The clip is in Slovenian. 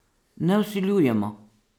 Ne vsiljujemo!